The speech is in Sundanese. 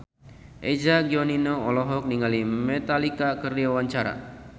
Eza Gionino olohok ningali Metallica keur diwawancara